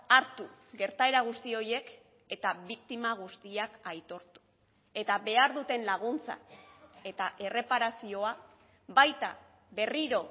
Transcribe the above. hartu gertaera guzti horiek eta biktima guztiak aitortu eta behar duten laguntza eta erreparazioa baita berriro